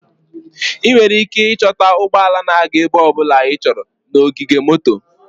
Ị nwere ike ịchọta ụgbọ ala na-aga ebe ọ bụla ịchọrọ na ogige moto.